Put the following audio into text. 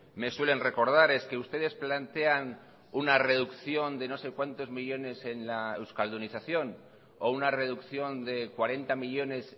me suelen recordar es que ustedes plantean una reducción de no sé cuántos millónes en la euskaldunización o una reducción de cuarenta millónes